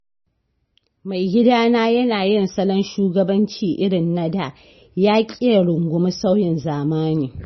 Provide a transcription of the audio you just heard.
Maigidana yana yin salon shugabanci irin na da, yaƙi ya rungumi sauyin zamani.